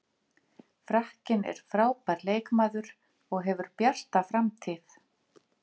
Frakkinn er frábær leikmaður og hefur bjarta framtíð.